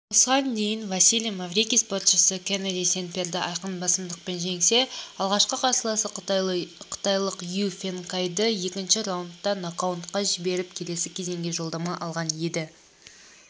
осыған дейін василиймаврикийспортшысыкеннеди сенпьерді айқын басымдықпен жеңсе алғашқы қарсыласы қытайлық юй фенкайдыекінші раундтанокдаунға жіберіп келесі кезеңге жолдама алған еді